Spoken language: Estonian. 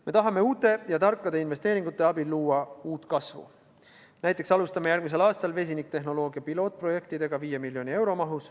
Me tahame uute ja tarkade investeeringute abil luua uut kasvu, näiteks alustame järgmisel aastal vesinikutehnoloogia pilootprojekte 5 miljoni euro mahus.